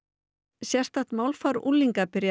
sérstakt málfar unglinga byrjaði